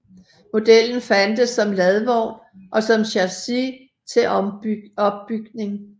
Modellen fandtes som ladvogn og som chassis til opbygning